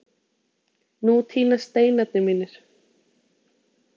Nú tínast steinarnir mínir.